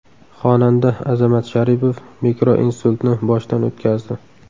Xonanda Azamat Sharipov mikroinsultni boshdan o‘tkazdi.